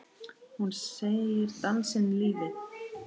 Hún segir dansinn lífið.